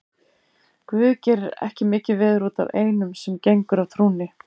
Guð gerir ekki mikið veður út af einum sem gengur af trúnni.